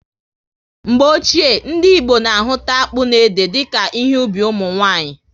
Mgbe ochie, ndị Igbo na ahụta akpụ na ede dika ihe ubi ụmụnwanyị